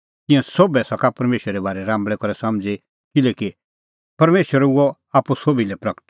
तिंयां सोभै सका परमेशरे बारै राम्बल़ै करै समझ़ी किल्हैकि परमेशर हुअ आप्पू सोभी लै प्रगट